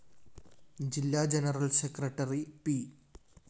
ജില്ലാ general secretary P